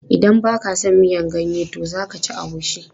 Idan ba ka a son miyan ganye to za ka ci agushi.